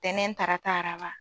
Ntɛnɛn tarata araba.